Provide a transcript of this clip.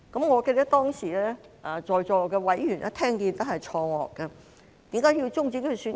我記得當時在席委員聽到後也感到錯愕，為何要終止選舉？